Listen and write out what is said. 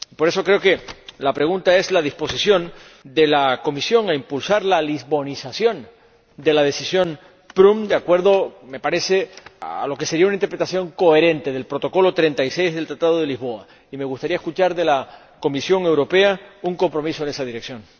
Por eso, creo que la pregunta es sobre la disposición de la Comisión a impulsar la lisbonización de la Decisión Prüm, de acuerdo, me parece, a lo que sería una interpretación coherente del Protocolo 36 del Tratado de Lisboa, y me gustaría escuchar de la Comisión Europea un compromiso en esa dirección.